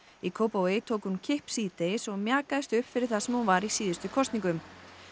í Kópavogi tók hún kipp síðdegis og mjakaðist upp fyrir það sem var í síðustu kosningum